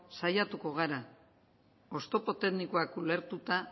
saiatuko gara oztopo teknikoak ulertuta